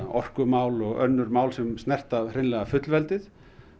orkumál og önnur mál sem snerta hreinlega fullveldið